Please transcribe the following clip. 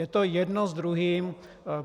Je to jedno s druhým.